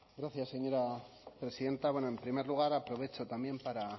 gracias señora presidenta bueno en primer lugar aprovecho también para